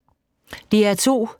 DR2